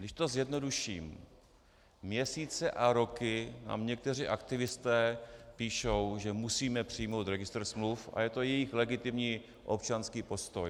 Když to zjednoduším, měsíce a roky nám někteří aktivisté píšou, že musíme přijmout registr smluv, a je to jejich legitimní občanský postoj.